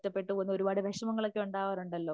ഒറ്റപ്പെട്ടുപോകുന്ന ഒരുപാട് വിഷമങ്ങളൊക്കെ ഉണ്ടാവാറുണ്ടല്ലോ